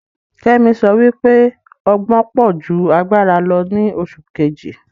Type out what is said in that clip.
Kemi sọ wípé ọgbọn pọ̀ ju agbára lọ ni oṣù Kejì